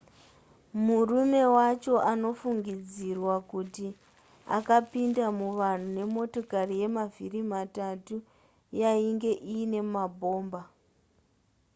murume wacho anofungidzirwa kuti akapinda muvanhu nemotokari yemavhiri matatu yainge iine mabhomba